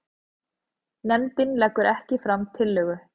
Nefndin leggur ekki fram tillögu